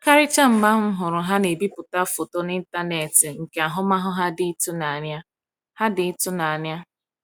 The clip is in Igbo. Karịchaa mgbe ahụ m hụrụ ha na-ebipụta foto n’ịntanetị nke ahụmahụ ha dị ịtụnanya. ha dị ịtụnanya.